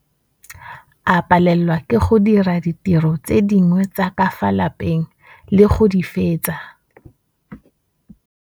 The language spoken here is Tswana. A palelwa ke go dira ditiro tse dingwe tsa ka fa la peng le go di fetsa.